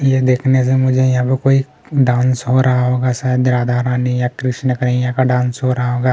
ये देखने से मुझे यहाँ पे कोई डांस हो रहा होगा शायद राधा रानी या कृष्ण कन्हैया का डांस हो रहा होगा।